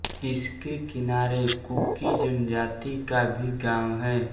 इसके किनारे कुकी जनजाति का भी गांव है